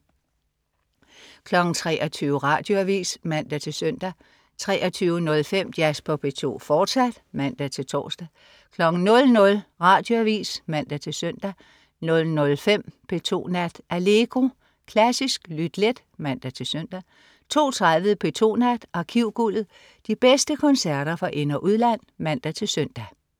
23.00 Radioavis (man-søn) 23.05 Jazz på P2, fortsat (man-tors) 00.00 Radioavis (man-søn) 00.05 P2 Nat. Allegro. Klassisk lyt let (man-søn) 02.30 P2 Nat. Arkivguldet. De bedste koncerter fra ind- og udland (man-søn)